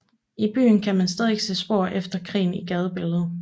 I byen kan man stadig se spor efter krigen i gadebilledet